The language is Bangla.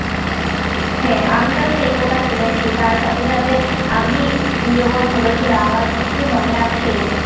হ্যা, আমিও সেই কথা শুনেছি তার সাথে সাথে আমি যখন ছোট ছিলাম আমার কিছু মনে আছে